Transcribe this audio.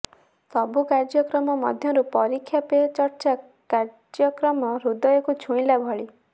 ସବୁ କାର୍ୟ୍ୟକ୍ରମ ମଧ୍ୟରୁ ପରୀକ୍ଷା ପେ ଚର୍ଚ୍ଚା କାର୍ୟ୍ୟକ୍ରମ ହୃଦୟକୁ ଛୁଇଁଲା ଭଳି